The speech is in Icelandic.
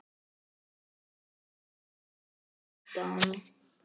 Hún leit undan.